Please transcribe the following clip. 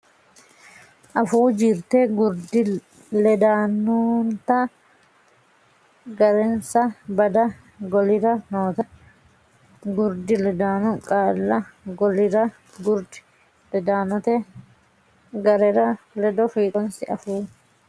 Afuu Jirte Gurdi Ledaanonnita Ga rensa Bada golira noota gurdi ledaano qaalla golira gurdi ledaanote ga re ledo fiixoonsi Afuu.